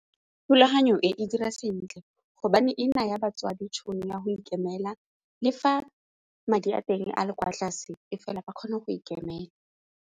Thulaganyo e e dira sentle gobane e naya batswadi tšhono ya go ikemela le fa madi a teng a le kwa tlase e fela ba kgone go ikemela.